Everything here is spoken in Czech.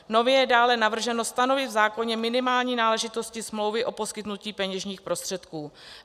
Nově je dále navrženo stanovit v zákoně minimální náležitosti smlouvy o poskytnutí peněžních prostředků.